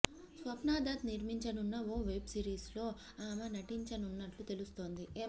స్వప్నా దత్ నిర్మించనున్న ఓ వెబ్ సిరీస్లో ఆమె నటించనున్నట్లు తెలుస్తోంది